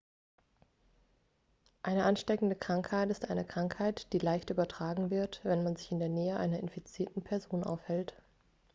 eine ansteckende krankheit ist eine krankheit die leicht übertragen wird wenn man sich in der nähe einer infizierten person aufhält